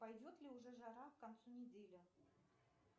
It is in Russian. пойдет ли уже жара к концу недели